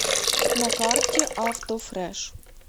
на карте автофрэш